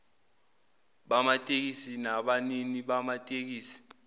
bamatekisi nabanini bamatekisi